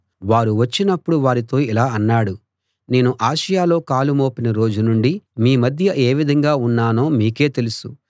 వారు వచ్చినపుడు వారితో ఇలా అన్నాడు నేను ఆసియలో కాలు మోపిన రోజు నుండి మీ మధ్య ఏ విధంగా ఉన్నానో మీకే తెలుసు